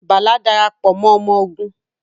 Bala Darapọ mọ ọmọ ogun